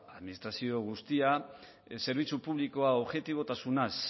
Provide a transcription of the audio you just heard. administrazio guztia zerbitzu publikoa objetibotasunaz